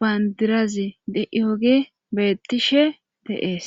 bandirazi d7iyoge beettishe deees